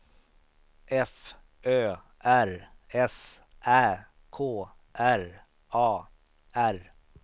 F Ö R S Ä K R A R